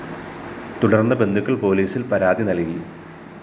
തുടര്‍ന്ന് ബന്ധുക്കള്‍ പോലീസില്‍ പരാതി നല്‍കി